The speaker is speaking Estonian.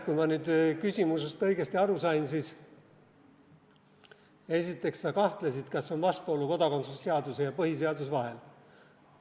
Kui ma nüüd küsimusest õigesti aru sain, siis esiteks, sa kahtlesid, kas on vastuolu kodakondsuse seaduse ja põhiseaduse vahel.